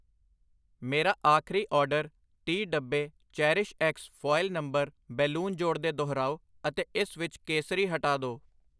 ਮੇਰਾ ਆਖਰੀ ਆਰਡਰ ਤੀਹ, ਡੱਬੇ ਚੇਰੀਸ਼ਐਕਸ ਫੁਆਇਲ ਨੰਬਰ ਬੈਲੂਨ ਜੋੜ ਕੇ ਦੁਹਰਾਓ ਅਤੇ ਇਸ ਵਿੱਚ ਕੇਸਰੀ ਹਟਾ ਦੋ I